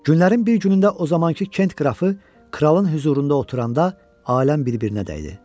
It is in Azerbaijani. Günlərin bir günündə o zamankı Kent qrafı kralın hüzurunda oturanda aləm bir-birinə dəydi.